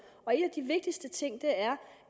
og en af de vigtigste ting er